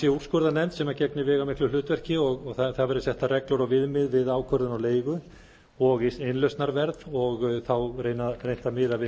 úrskurðarnefnd sem gegnir veigamiklu hlutverki og það verði settar reglur og viðmið við ákvörðun á leigu og innlausnarverð og þá reynt að miða við